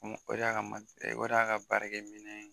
o de ye a ka o de ye a ka baarakɛ minɛn ye.